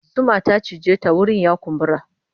Zuma ta cije ta wurin ya kumbura.